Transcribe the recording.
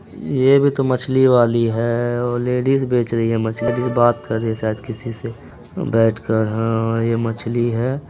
ये भी तो मछली वाली है ओ लेडिज बेच रही हैं मछली जैसे बात कर रही शायद किसी से बैठ कर हाँ ये मछली है।